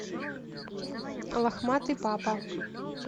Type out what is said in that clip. лохматый папа